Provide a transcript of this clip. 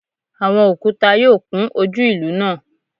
Awọn okuta yoo kun oju ilu naa